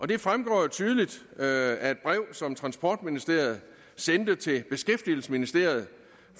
det fremgår jo tydeligt af et brev som transportministeriet sendte til beskæftigelsesministeriet